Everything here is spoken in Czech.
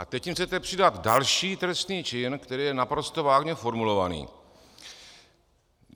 A teď jim chcete přidat další trestný čin, který je naprosto vágně formulovaný.